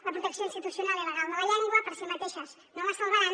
la protecció institucional i legal de la llengua per si mateixes no la salvaran